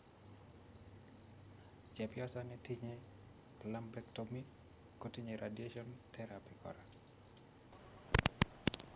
Chebyosoo netinyeel lumpectomy kotinyee radiation therapy koraa